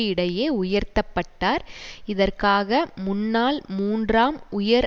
இடையே உயர்த்த பட்டார் இதற்காக முன்னாள் மூன்றாம் உயர்